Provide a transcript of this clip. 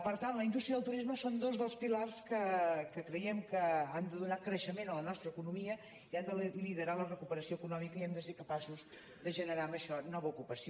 per tant la indústria i el turisme són dos dels pilars que creiem que han de donar creixement a la nostra economia i han de liderar la recuperació econòmica i hem de ser capaços de generar amb això nova ocupació